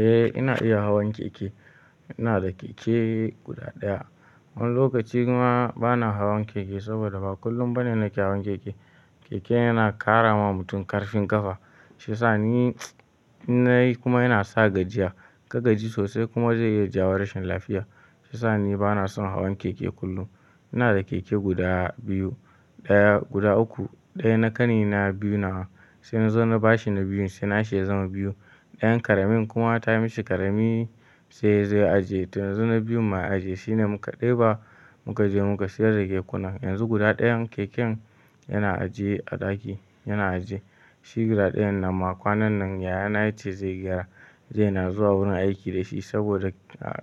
Eh ina iya hawan keke. Ina da keke guda ɗaya. Wani lokaci kuma bana hawan keke saboda ba kullum bane nake hawan keke. Keke yana ƙara wa mutum ƙarfin ƙafa. Shiya sa ni in na yi kuma yana sa gajiya. Ka gaji sosai kuma zai iya jawo rashin lafiya. Shi sa ni bana son hawan keke kullum. Ina da keke guda biyu, ɗaya guda uku. Ɗaya na ƙani na, biyu na wa. Sai na zo na bashi na biyun sai na shi ya zama biyu. Ɗayan ƙaramin kuma ta mishi ƙarami sai yazo ya aje. To yanzu na biyun ma ya aje shine muka ɗeba muka je muka sayar da kekunan. Yanzu guda ɗayan keken yana ajiye a ɗaki, yana ajiye. Shi guda ɗayan nan ma kwanan nan yaya na ya ce zai gyara zai na zuwa wurin aiki da shi saboda,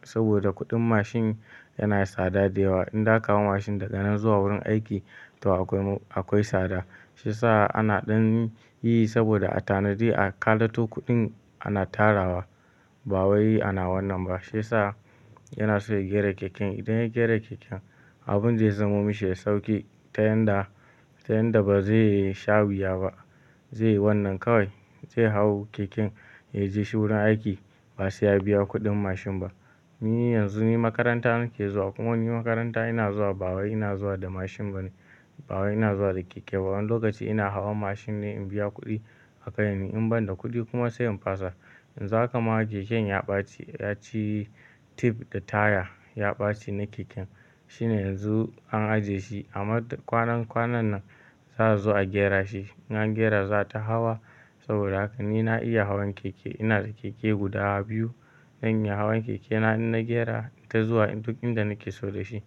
saboda kuɗin mashin yana tsada da yawa. In za ka hau mashin daga nan zuwa wurin aiki to akwai, akwai tsada. Shiya sa ana ɗan yi saboda a tanadi a kalato kuɗin ana tarawa. Ba wai ana wannan ba. Shiya sa yana so ya gyara keken. Idan ya gyara keken abin zai zamo mishi da sauƙi ta yanda, ta yanda ba zai sha wuya ba. Zai yi wannan kawai zai hau keken ya je shi wurin aiki ba sai ya biya kuɗin mashin ba. Ni yanzu ni makaranta nake zuwa kuma ni makaranta ina zuwa ba wai ina zuwa da mashin bane. Ba wai ina zuwa da keke ba. Wani lokaci ina hawan mashin ne in biya kuɗi a kai ni. In ban da kuɗi kuma sai in fasa. Yanzu ha kama keken ya ɓaci, ya ci tif da taya ya ɓaci na keken. Shine yanzu an ajiye shi. Amma kwanan kwanan nan za su zo a gyara shi. In an gyara za a ta hawa saboda haka ni na iya hawan keke. Ina da keke guda biyu. Zan iya hawan keke na in na gyara ita zuwa duk inda nake so da shi.